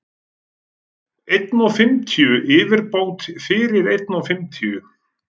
einn og fimmtíu yfirbót fyrir einn og fimmtíu.